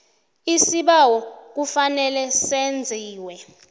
isibawo kufanele senziwe